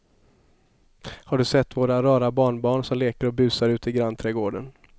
Har du sett våra rara barnbarn som leker och busar ute i grannträdgården!